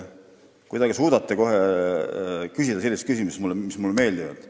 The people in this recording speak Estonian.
Te kuidagi suudate küsida selliseid küsimusi, mis mulle kohe meeldivad.